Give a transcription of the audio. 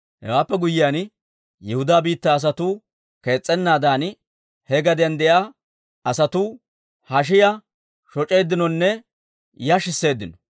Hewaappe guyyiyaan, Yihudaa biittaa asatuu kees's'ennaadan, he gadiyaan de'iyaa asatuu hashiyaa shoc'eeddinonne yashisseeddino.